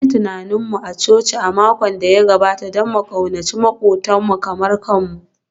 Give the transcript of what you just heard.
An yi tunanin mu a coci a makon da ya gabata don mu ƙaunaci maƙwabtanmu kamar kanmu